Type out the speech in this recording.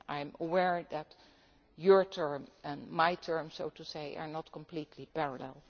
term. I am aware that your term and my term, so to speak, are not completely